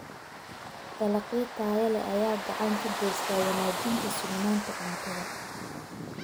Dalagyo tayo leh ayaa gacan ka geysta wanaajinta sugnaanta cuntada.